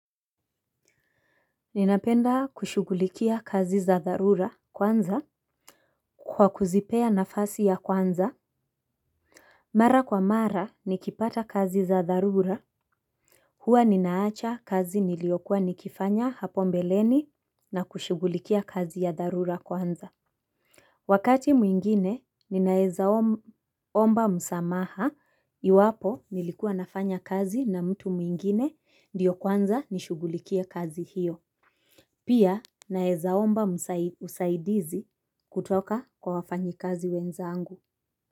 Ninapenda kushugulikia kazi za dharura kwanza kwa kuzipea nafasi ya kwanza. Mara kwa mara nikipata kazi za dharura hua ninaacha kazi niliyokua nikifanya hapo mbeleni na kushugulikia kazi ya dharura kwanza. Wakati mwingine ninaezaomba msamaha iwapo nilikuwa nafanya kazi na mtu mwingine ndiyo kwanza nishugulikie kazi hiyo. Pia naezaomba usaidizi kutoka kwa wafanyikazi wenzangu.